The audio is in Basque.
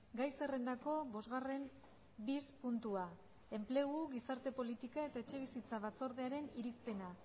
gai zerrendako bosgarren bis puntua enplegu gizarte politika eta etxebizitza batzordearen irizpena